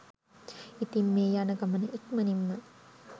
ඉතින් මේ යන ගමන ඉක්මණින් ම